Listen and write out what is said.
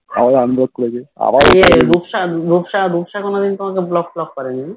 এই রূপসা রূপসা রূপসা তোমাকে কোনো দিন Block টলোক করেনি না